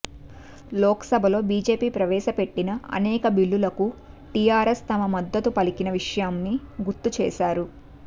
లోక్ సభలో బీజేపీ ప్రవేశపెట్టిన అనేక బిల్లులకు టీఆర్ఎస్ తన మద్దతు పలికిన విషయాన్ని గుర్తు చేశారు